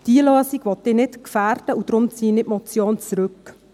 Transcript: Diese Lösung will ich nicht gefährden, und deswegen ziehe ich die Motion zurück.